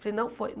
Falei, não foi.